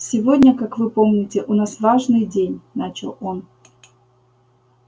сегодня как вы помните у нас важный день начал он